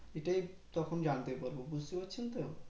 এটাই তখন জানতে পারবো বুজতে পারছেন তো